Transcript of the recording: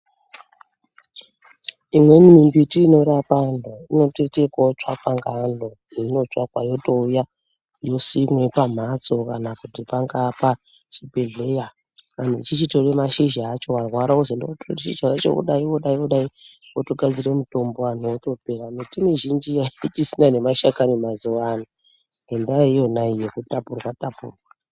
Imweni mimbiti inorapa antu inotoite kotsvakwa ngeanhu yotouya yosimwe pamhatso kana kuti panga pachibhehleya kuti tichitora mashizha acho. Warwara wozi enda wotora mashizha wodai wodai wotohadzire mutombo. Miti mizhinji ayisisina nemashakani mazuwano ngenda iyona iyoyo yekutapurwa tapurwa.